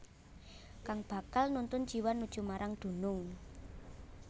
Kang bakal nuntun jiwa nuju marang dunung